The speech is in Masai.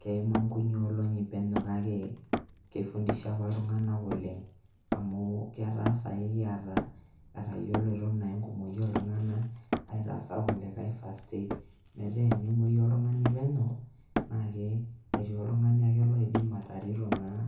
Keima nkunyi olong`i penyo kake keifundisha apa iltung`anak oleng amu eta saai ekiata, etayiolito enkumoi oo iltung`anak aitasa ilkulikae first aid metaa tenemuoyu oltung`ani penyo naa kee ketiii oltung`ani ake oidim atareto naa